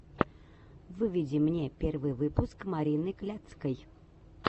выведи мне первый выпуск марины кляцкой